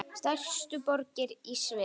Stærstu borgir í Sviss